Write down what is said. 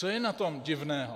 Co je na tom divného?